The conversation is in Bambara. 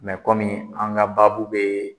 an ka babu be